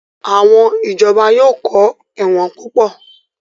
Àwọn Ìjọba yóò kọ́ ẹ̀wọ̀n púpọ̀